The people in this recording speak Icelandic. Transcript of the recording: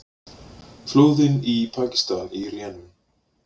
Flóðin í Pakistan í rénun